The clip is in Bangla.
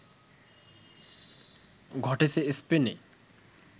ঘটেছে স্পেনে